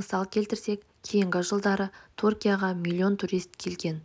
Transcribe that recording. мысал келтірсек кейінгі жылдары түркияға млн турист келген